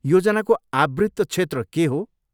योजनाको आवृत्त क्षेत्र के हो?